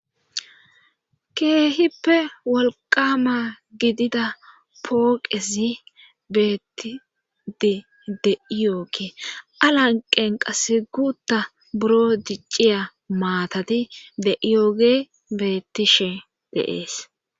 Keehippe wolqama gidida pooqezi betide de'ees. A lanqqen qassi guutha biron diciya maatati de'yoge beetishe de'ees.